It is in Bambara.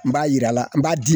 N b'a yir'a la n b'a di